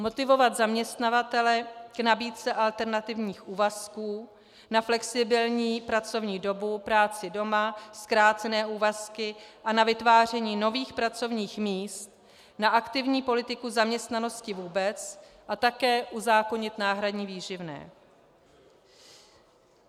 Motivovat zaměstnavatele k nabídce alternativních úvazků, na flexibilní pracovní dobu, práci doma, zkrácené úvazky a na vytváření nových pracovních míst, na aktivní politiku zaměstnanosti vůbec a také uzákonit náhradní výživné.